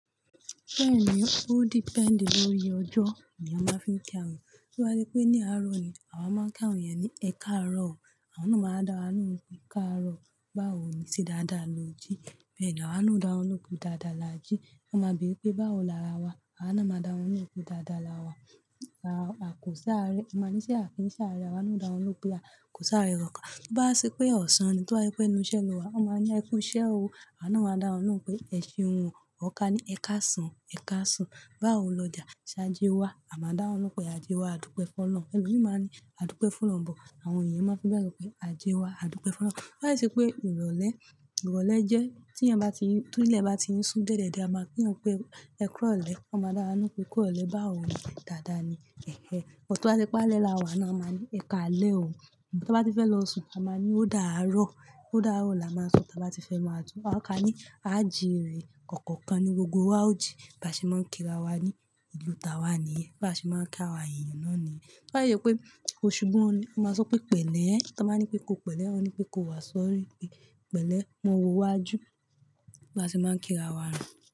Bẹ́ẹ̀ni, ó depend lóye ọjọ́ ni a máa ń fi ń kí àwọn ènìyàn. Bí bá ṣe pé ní àárọ̀ ni, àwa máa ń kí àwọn ènìyàn ní "ẹ káàárọ̀ o". Àwọn náà máa dá wọn nú pé "káàárọ̀". Báwo ni ṣe dáadáa lò jí, bẹ́ẹ̀ ni àwa náà ó dá wọn ló pé "dáadáa là jí". Wọn máa bere pé "báwo làárà wa?" Àwa náà máa dá wọn lóhùn pé "dáadáa là wà". Àkọsárẹ́, a máa níṣe àkínṣá arẹ, àwa náà ó dá wọn ló pé "à kọsárẹ́ kánkan". Bí bá ṣe pé ọ̀sán ni, tí o bá ṣe pé ẹnú iṣé ló wà, wọ́n máa ni ẹkú iṣẹ́ o. Àwa náà máa dá wọn lóhùn pé "ẹ ṣé hun o". Ọ́ ká ní "ẹ káàsán, ẹ káàsán". Báwo lọ́jà, ṣajé wá, àwa máa dá wọn lohun pé "ajé wá, àdúpẹ́ fun ọlọrun". Ẹ̀lomi máa ní "àdúpẹ́ fun olorun bọ", àwọn èyàn máa ń fi bẹ́ẹ̀ sọ pé "ajé wá, àdúpẹ́ fun ọlọrun". Bá ṣe pé ìrọ̀lẹ́, ìrọ̀lẹ́ jẹ́ tí èyàn bá ti ń, tí ilẹ̀ bá ti ń sún dié diẹ̀ diẹ́, a máa kín èèyàn pe "ẹ kúrọ̀lẹ́". Wọ́n máa dá wà lohun pé "kúrọ̀lẹ́". Bawo ni dáadáa ni ẹ̀hẹ̀, but to bá ṣe pé alẹ́ là wà náà, a máa ní "ẹ káalẹ́ o". Bọ ti bá ti fẹ́ lọ sùn, a máa ní "ó dàárọ̀". "Ó dàárọ̀" làá máa sọ ta bá ti fẹ́ máa tu. Wọ́n á ká ní "áàjì rè". Ọ̀kọ̀ọ̀kan ni gbogbo wa ó jí. Bí a ṣe máa ń kí ra wa ní ìlú táa wà níyẹn. Bí a ṣe máa ń kí àwọn ènìyàn náà níyẹn. Bá yẹ pé òṣù bú ọ ni, a máa sọ pé pẹ̀lẹ́ ẹ. Tí wọ́n bá ní pé "kó pẹ̀lẹ́", wón ní pé "kó wá sọ́rí", pé "pẹ̀lẹ́, mọ wo wá jú". Bí a ṣe máa ń kí ra wa rí.